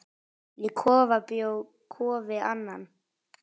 Í kofa bjó Kofi Annan.